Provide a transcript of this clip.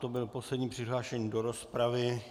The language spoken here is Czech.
To byl poslední přihlášený do rozpravy.